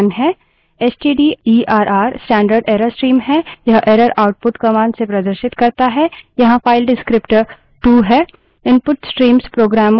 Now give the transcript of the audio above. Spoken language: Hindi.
stderr stderr standard error stream है यह error output commands से प्रदर्शित करता है यहाँ file descriptor विवरणक टू 2 है